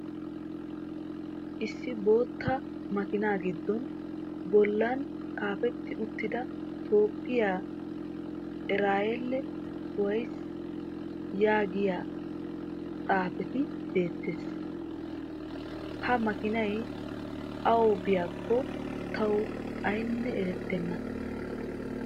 issi bootta makiinaa giddon bolan xaafetti uttida toophiya erayil wayis yaagiya xifatee beetees. ha makiinay awu biyakko tawu aynne eretenna.